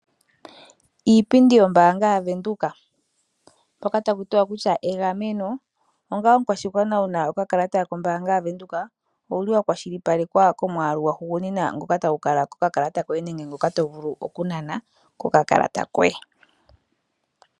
Iipindi yombaanga yaWindhoek mpoka takutiwa kutya egameno onga omukwashigwana wuna okakalata kombanga yaWindhoek owuli wakwashilipalekwa komwaalu gwahugunina ngoka tagu kala kokakalata koye nenge ngoka tovulu okunana kokakalata koye.